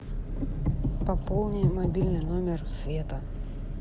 пополни мобильный номер света